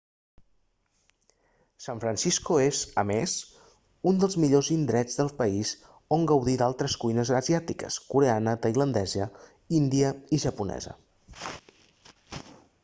san francisco és a més un dels millors indrets del país on gaudir d'altres cuines asiàtiques coreana tailandesa índia i japonesa